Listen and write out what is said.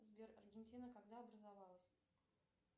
сбер аргентина когда образовалась